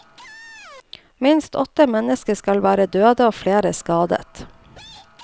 Minst åtte mennesker skal være døde og flere skadet.